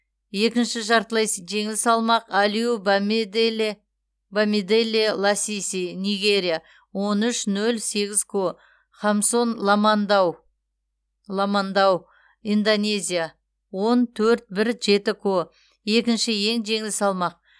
екінші жартылай жеңіл салмақ алиу бамиделе бамиделе ласиси нигерия он үш нөл сегіз ко хамсон ламандау ламандау индонезия он төрт бір жеті ко екінші ең жеңіл салмақ